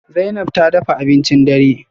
Zainab ta dafa abincin dare?